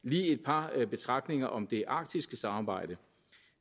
lige et par betragtninger om det arktiske samarbejde